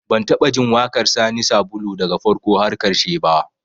Ban taɓa jin waƙar Sani Sabulu daga farko har ƙarshe ba